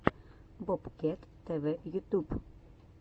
бобкет тв ютюб